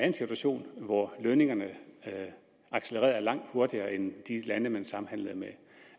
en situation hvor lønningerne accelererede langt hurtigere end i de lande vi samhandlede med